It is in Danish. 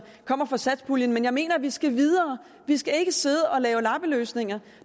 kommer fra satspuljen men jeg mener at vi skal videre vi skal ikke sidde og lave lappeløsninger